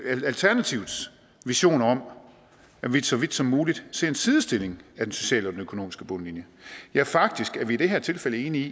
alternativets visioner om at vi så vidt som muligt ser en sidestilling af den sociale og den økonomiske bundlinje ja faktisk er vi i det her tilfælde enige